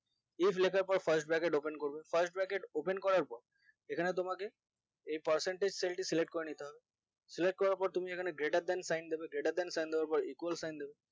if লেখার পর first bracket open করবো first bracket open করার পর এখানে তোমাকে percentage cell select করে নিতে হবে select করার পর তুমি এখানে greater than sign দেবে greater than sign দেওয়ার পর equal sign দেবে